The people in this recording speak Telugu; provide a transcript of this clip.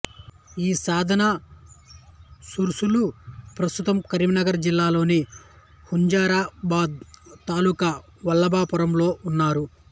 ఈ సాధనా శూరులు ప్రస్తుతం కరీంనగర్ జిల్లాలోని హుజూరా బాద్ తాలూకా వల్లభా పురంలో వున్నారు